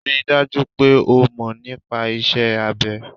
Ri dájú pé o mọ̀ nípa iṣẹ́ abẹ.